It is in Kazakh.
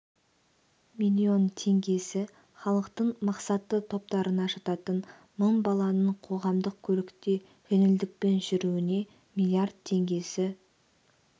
млн теңгесі халықтың мақсатты топтарына жататын мың баланың қоғамдық көлікте жеңілдікпен жүруіне млрд теңгесі тж